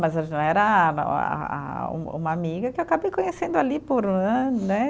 Mas era a a a, um uma amiga que eu acabei conhecendo ali por um ano né.